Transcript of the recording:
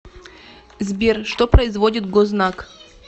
сбер что производит гознак